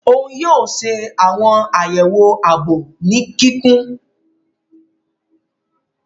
Oun yoo ṣe awọn ayewo aabo ni kikun.